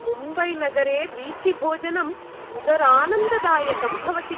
मुम्बैनगरे वीथिभोजनं उदरानन्ददायकं भवति।